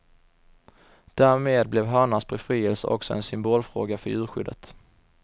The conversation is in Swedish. Därmed blev hönans befrielse också en symbolfråga för djurskyddet.